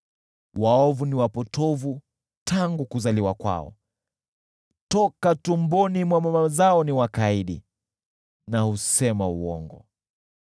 Waovu ni wapotovu tangu kuzaliwa kwao, toka tumboni mwa mama zao ni wakaidi na husema uongo.